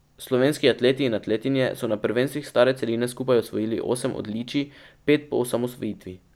Slovenski atleti in atletinje so na prvenstvih stare celine skupaj osvojili osem odličij, pet po osamosvojitvi.